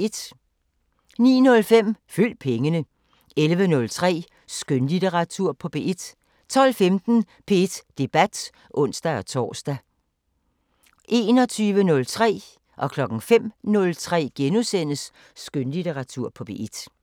09:05: Følg pengene 11:03: Skønlitteratur på P1 12:15: P1 Debat (ons-tor) 21:03: Skønlitteratur på P1 * 05:03: Skønlitteratur på P1 *